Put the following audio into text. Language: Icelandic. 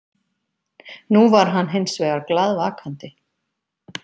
Nú var hann hinsvegar glaðvakandi.